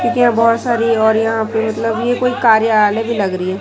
बहुत सारी और यहां पे मतलब ये कोई कार्यालय भी लग रही है।